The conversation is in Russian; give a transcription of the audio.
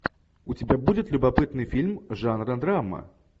у тебя будет любопытный фильм жанра драма